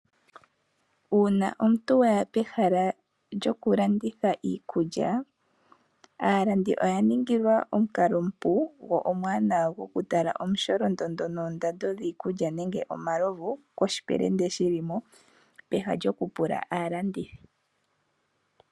Uuna omuntu waya pehala lyokulanditha iikulya. Aalandi oya ningilwa omukalo omupu gokutala omusholondondo gwiikulya nenge omalovu koshipelende shili mo peha lyokupula aalandithi.